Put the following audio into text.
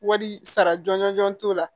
Wari sara jɔnjɔn t'o la